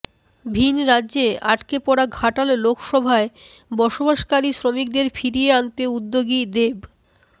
ভিনরাজ্যে আটকে পড়া ঘাটাল লোকসভায় বসবাসকারী শ্রমিকদের ফিরিয়ে আনতে উদ্যোগী দেব